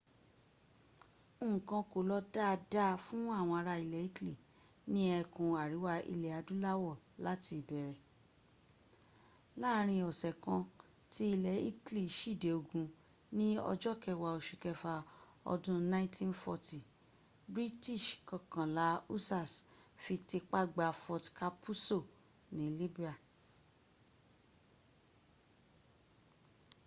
nnkan kò lọ dáadáa fún àwọn ará ilẹ̀ italy ní ẹkùn àríwá ilẹ̀ adúláwọ̀ láti ìbẹ̀ẹ̀rẹ̀ láàárin ọ̀ṣẹ̀ kan tí ilẹ̀ italy síde ogun ni ọjọ kẹwa ọṣù kẹfà ọdún 1940 british kọkànlá hussars ti fipá gba fort capuzzo ni libya